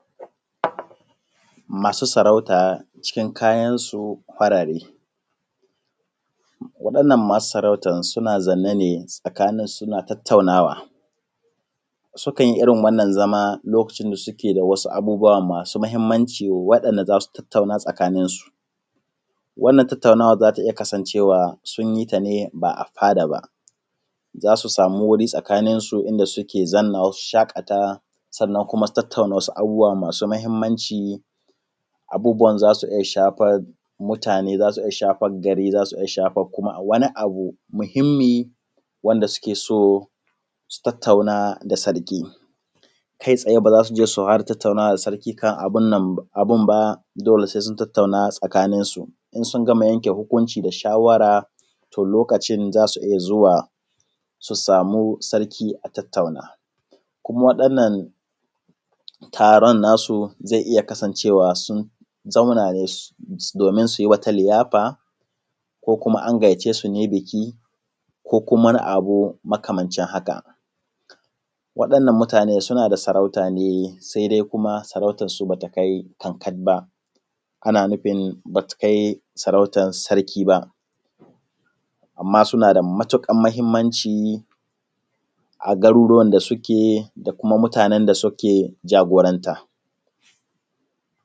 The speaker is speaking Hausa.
Masu sarauta cikin kayansu farare waɗannan masu sarauta suna zaune ne tsakaninsu suna tattaunawa sukan yi irin wannan zama lokacin da suke da abubuwa da za su tattauna tsakaninsu. Wannan tattaunawa za ta iya kasancewa sun yin ta ne ba a fada ba za su sama wuri tsakaninsu a inda suke zama su shaƙata sannan kuma tattauna abu masu mahimmanci abubuwan za su shafi mutane za su iya shafar gari za su iya shafar wani abu muhimmi wanda suke so su tattauna da Sarki kai tsaye ba su ke su fara tattaunawa da sarki kan abun ba dole sai sun tattauna tsakaninsu in sun gama yanke hukunci da shawara to lokacin za su iya zuwa su samu Sarki a tattauna kuma ɗan taron nasu zai iya kasancewa sun zauna domin su yi wata liyafa ko kuma an gayyace su biki ko abu makamancin haka. Waɗannan mutane suna da sarauta ne sai dai kuma sarautar su ba ta kai kankat ba ana nufin ba ta kai sarki ba amma suna da matuƙar mahimmanci a hanyar da suke da kuma mutanen da suke jagoranta.